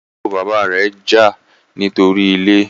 àbúrò bàbá rẹ jà nítorí ilè